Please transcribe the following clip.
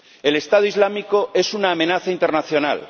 El Estado Islámico es una amenaza internacional.